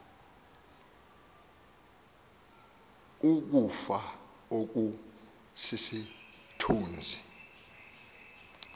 ukufa oku sisithunzi